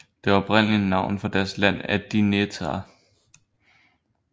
Det oprindelige navn for deres land er Dinétah